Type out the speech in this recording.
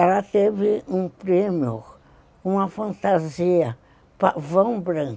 Ela teve um prêmio, uma fantasia pavão branco,